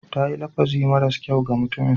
Ta yi lafazi maras kyau ga mutumin.